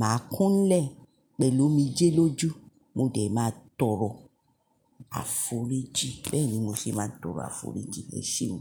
màá kúnlẹ̀ pẹ̀lú omijé lójú, mo dè máa tọrọ àforíjìn. Bẹ́ẹ̀ni mo ṣe máa tọrọ àforíjìn. E sheun.